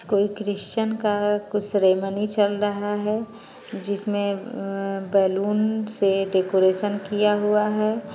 कोई क्रिस्चन का कुछ सेरेमनी चल रहा है जिसमे अअ बैलुन से डेकोरेशन किया हुआ है।